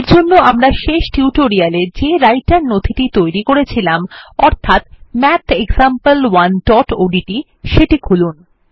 এরজন্য আমরা শেষ টিউটোরিয়ালে যে রাইটের নথিটি তৈরী করেছিলাম অর্থাৎ mathexample1ওডিটি সেটি খুলুন